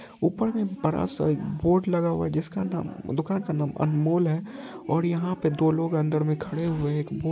ऊपर में बड़ा सा एक बोर्ड लगा हुआ है जिसका नाम दुकान का नाम अनमोल है और यहा पे दो लोग अंदर में खड़े हुए है एक बो--